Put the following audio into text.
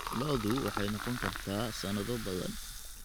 Lo'du waxay noqon kartaa sanado badan.